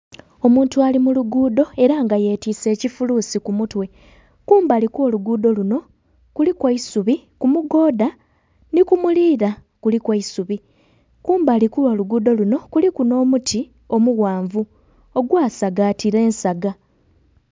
Omuntu ali mu luguudo era nga yetise ekifulusi kumutwe kumbali okw'oluguudo luno kuliku eisubi kumugonda ni kumulira kuliku eisubi kumbali okw'oluguudo luno kuliku n'omuti omughanvu ogwasagatira ensaga.